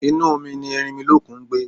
Inú omi ni Erinmilókun ngbé